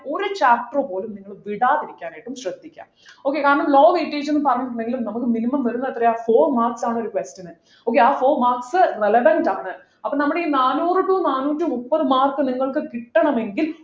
ഒരു chapter പോലും നിങ്ങള് വിടാതിരിക്കാനായിട്ട് ശ്രദ്ധിക്കാ okay കാരണം low weightage എന്നും പറഞ്ഞിട്ട് ഇണ്ടെങ്കിൽ നമുക്ക് minimum വരുന്ന എത്രയാ four marks ആണ് ഒരു question ന് okay ആ four marks relevant ആണ് അപ്പോ നമ്മുടെ ഈ നാനൂറു to നാനൂറ്റിമുപ്പത് marks നിങ്ങൾക്ക് കിട്ടണമെങ്കിൽ